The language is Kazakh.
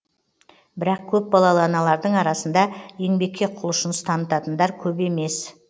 бірақ көпбалалы аналардың арасында еңбекке құлшыныс танытатындар көп емес